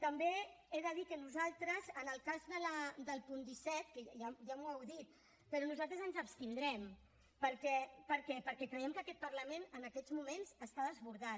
també he de dir que nosaltres en el cas del punt disset que ja m’ho heu dit però nosaltres ens abstindrem perquè creiem que aquest parlament en aquests moments està desbordat